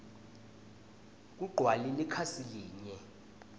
kugcwale likhasi linye